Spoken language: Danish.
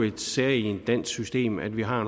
en sag i et dansk system at vi har